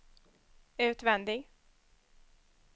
utvändig